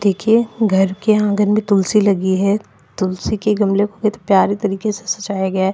देखिये घर के आंगन में तुलसी लगी हैं तुलसी के गमले को कितने प्यारे तरिके से सजाया गया हैं।